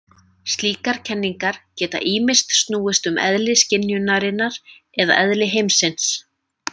Slíkar kenningar geta ýmist snúist um eðli skynjunarinnar eða eðli heimsins.